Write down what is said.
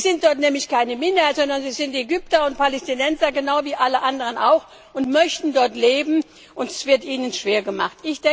Sie sind dort nämlich keine Minderheit, sondern sie sind Ägypter und Palästinenser genau wie alle anderen auch und möchten dort leben, und das wird ihnen schwer gemacht.